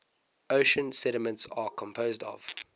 ocean sediments are composed of